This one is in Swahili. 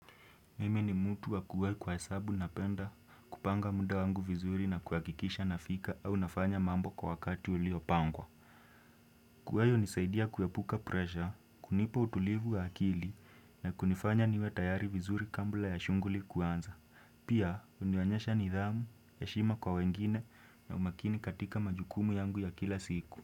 Mimi ni mtu wa kuwahi kwa sababu napenda kupanga muda wangu vizuri na kuhakikisha nafika au nafanya mambo kwa wakati uliopangwa. Kuwahi hunisaidia kuepuka presha, kunipa utulivu wa akili na kunifanya niwe tayari vizuri kabla ya shughuli kuanza. Pia, hunionyesha nidhamu, heshima kwa wengine na umakini katika majukumu yangu ya kila siku.